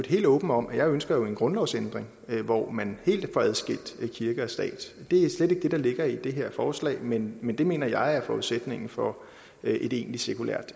helt åben om at jeg jo ønsker en grundlovsændring hvor man helt får adskilt kirke og stat det er slet ikke det der ligger i det her forslag men men det mener jeg er forudsætningen for et egentligt sekulært